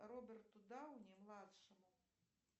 роберту дауни младшему